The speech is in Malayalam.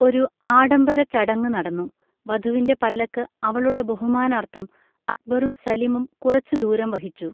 ഒരു ആഡംബര ചടങ്ങ് നടന്നു, വധുവിൻ്റെ പല്ലക്ക് അവളുടെ ബഹുമാനാർത്ഥം അക്ബറും സലിമും കുറച്ച് ദൂരം വഹിച്ചു.